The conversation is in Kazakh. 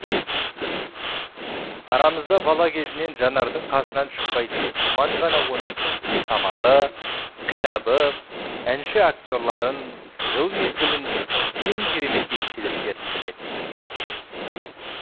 арамызда бала кезінен жанардың қасынан шықпайтын думан ғана оның сүйікті тамағы кітабы әнші акте рларын жыл мезгілін ең керемет естеліктерін білетін